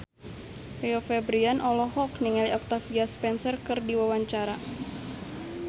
Rio Febrian olohok ningali Octavia Spencer keur diwawancara